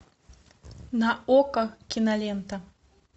на окко кинолента